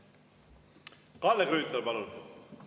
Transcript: Kalle Grünthal, palun!